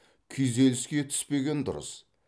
күйзеліске түспеген дұрыс